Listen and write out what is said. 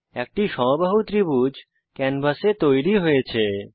একটি সমবাহু ত্রিভুজ ক্যানভাসে তৈরী হয়েছে